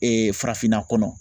farafinna kɔnɔ